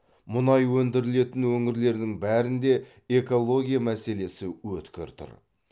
мұнай өндірілетін өңірлердің бәрінде экология мәселесі өткір тұр